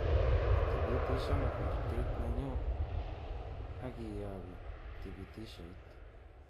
Itibitishan kurtet nenyu akiyoku tibithishoit